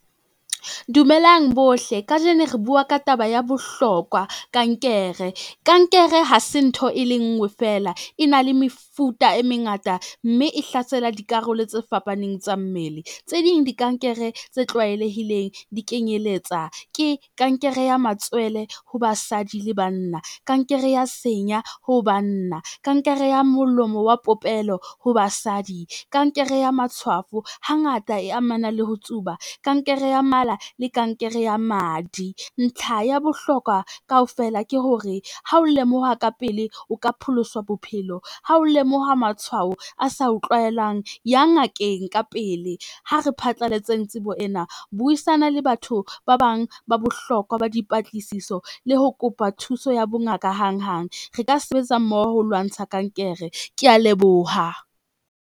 Dumelang bohle kajeno re bua ka taba ya bohlokwa kankere. Kankere hase ntho e le ngwe fela, e na le mefuta e mengata mme e hlasela dikarolo tse fapaneng tsa mmele. Tse ding di kankere, tse tlwaelehileng di kenyeletsa, ke kankere ya matswele ho basadi le banna, kankere ya senya ho banna, kankere ya molomo wa popelo ho basadi, kankere ya matshwafo hangata e amana le ho tsuba, kankere ya mala le kankere ya madi. Ntlha ya bohlokwa kaofela ke hore, ha o lemoha ka pele o ka pholoswa bophelo, ha o lemoha matshwao a sa o tlwaelang, ya ngakeng ka pele. Ha re phatlalletseng tsebo ena, buisana le batho ba bang ba bohlokwa ba dipatlisiso le ho kopa thuso ya bongaka hanghang. Re ka sebetsa mmoho ho lwantsha kankere. Kea leboha.